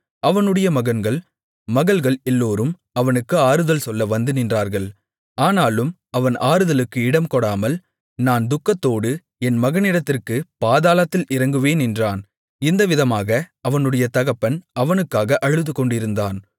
அவனுடைய மகன்கள் மகள்கள் எல்லோரும் அவனுக்கு ஆறுதல் சொல்ல வந்து நின்றார்கள் ஆனாலும் அவன் ஆறுதலுக்கு இடம்கொடாமல் நான் துக்கத்தோடு என் மகனிடத்திற்கு பாதாளத்தில் இறங்குவேன் என்றான் இந்த விதமாக அவனுடைய தகப்பன் அவனுக்காக அழுதுகொண்டிருந்தான்